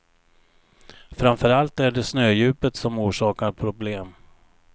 Framför allt är det snödjupet som orsakar problem.